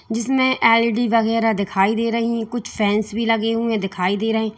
जिसमें एल_ई_डी वगैरह दिखाई दे रही है कुछ फैंस भी लगे हुए दिखाई दे रहे हैं।